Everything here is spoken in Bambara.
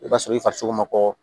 I b'a sɔrɔ i farisogo ma kɔ